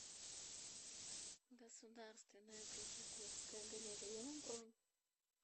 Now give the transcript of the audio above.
государственная третьяковская галерея бронь